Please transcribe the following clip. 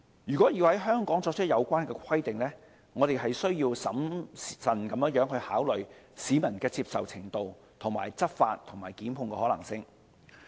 如果要在香港作出有關規定，我們需要審慎考慮市民的接受程度、執法和檢控的可行性。